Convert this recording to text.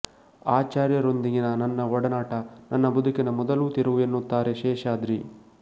ಆಚಾರ್ಯರೊಂದಿಗಿನ ನನ್ನ ಒಡನಾಟ ನನ್ನ ಬದುಕಿನ ಮೊದಲ ತಿರುವು ಎನ್ನುತ್ತಾರೆ ಶೇಷಾದ್ರಿ